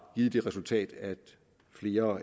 givet det resultat at flere